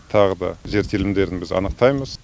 сондықтан тағы да жер телімдерін біз анықтаймыз